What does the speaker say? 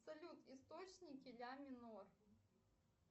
салют источники ля ми нор